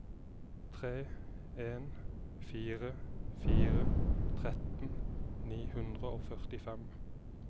tre en fire fire tretten ni hundre og førtifem